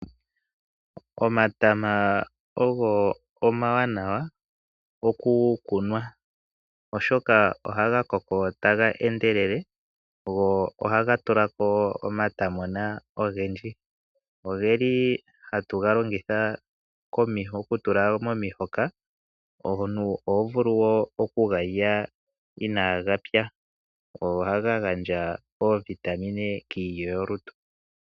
Omatama ogo omawanawa oku kunwa, oshoka ohaga koko taga endelele go ohaga tulako omatamona ogendji. Ogeli hatu ga longitha oku tula momihoka, omuntu oho vulu woo oku galya ina gapya, ogo ohaga gandja iitungithi kiilyo yolutu.